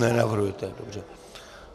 Nenavrhujete, dobře.